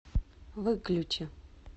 выключи